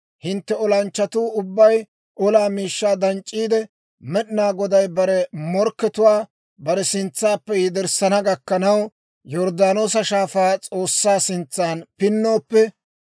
hintte olanchchatuu ubbay olaa miishshaa danc'c'iide, Med'inaa Goday bare morkkatuwaa bare sintsaappe yederssana gakkanaw, Yorddaanoosa Shaafaa S'oossaa sintsan pinnooppe,